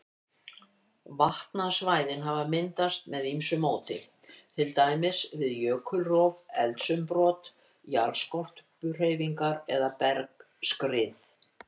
Vatnsstæðin hafa myndast með ýmsu móti, til dæmis við jökulrof, eldsumbrot, jarðskorpuhreyfingar eða bergskrið.